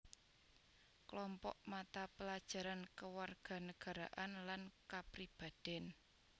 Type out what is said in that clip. Klompok mata pelajaran kewarganagaraan lan kapribadèn